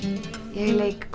ég leik